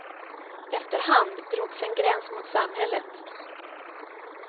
Efter hand drogs en gräns mot samhället.